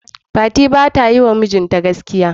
Fati bata yiwa mijinta gaskiya.